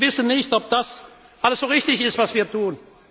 Sie wissen nicht, ob das alles so richtig ist, was wir tun.